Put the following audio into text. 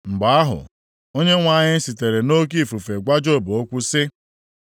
Mgbe ahụ, Onyenwe anyị sitere nʼoke ifufe gwa Job okwu sị: